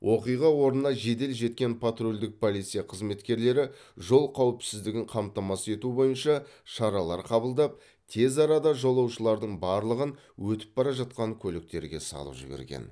оқиға орнына жедел жеткен патрульдік полиция қызметкерлері жол қауіпсіздігін қамтамасыз ету бойынша шаралар қабылдап тез арада жолаушылардың барлығын өтіп бара жатқан көліктерге салып жіберген